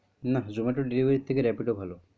না Zomato delivery থেকে Rapido ভালো।